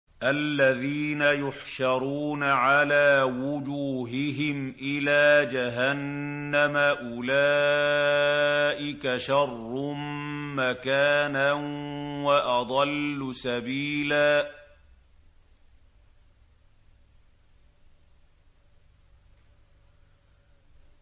الَّذِينَ يُحْشَرُونَ عَلَىٰ وُجُوهِهِمْ إِلَىٰ جَهَنَّمَ أُولَٰئِكَ شَرٌّ مَّكَانًا وَأَضَلُّ سَبِيلًا